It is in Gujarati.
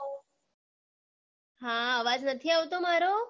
હા અવાજ નથી આવતો મારો